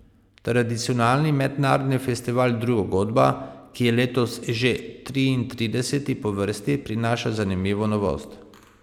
Tradicionalni mednarodni festival Druga godba, ki je letos že triintrideseti po vrsti, prinaša zanimivo novost.